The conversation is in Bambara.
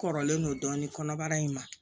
Kɔrɔlen don dɔɔnin kɔnɔbara in ma